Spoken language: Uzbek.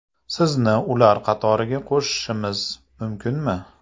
Sizni ular qatoriga qo‘shishimiz mumkinmi?